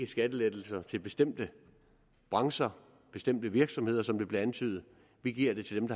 skattelettelser til bestemte brancher bestemte virksomheder som det blev antydet vi giver til